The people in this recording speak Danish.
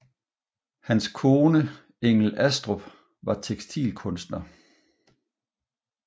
Hans kone Engel Astrup var tekstilkunstner